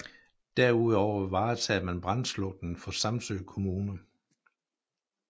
Derudover varetager man brandslukningen for Samsø Kommune